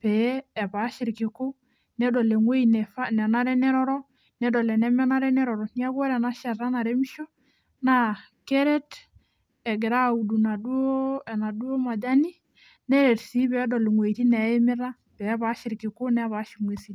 pee epaasha ilkiku, nedol ewoji nenare neroro, nedol enemenare neroro, neeku ore enashata naremisho naa keret egirai aaudu enaduo majani neret sii peedol iwojitin neimita, peepaash ilkiku nepaasha inkuesi.